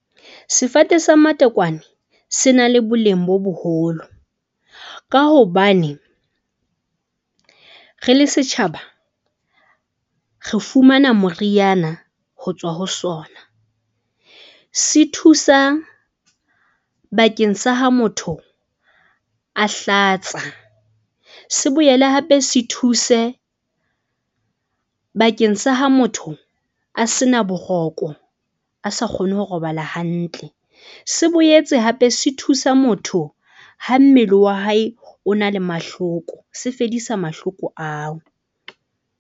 Sefate sa matekwane se na le boleng bo boholo, ka hobane re le setjhaba re fumana moriana ho tswa ho sona. Se thusa bakeng sa ha motho a hlatsa, se boele hape se thuse bakeng sa ha motho a sena boroko, a sa kgone ho robala hantle. Se boetse hape se thusa motho ha mmele wa hae o na le mahloko se fedisa mahloko ao.